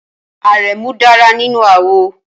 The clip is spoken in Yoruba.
Aremu dára nínú àwọ̀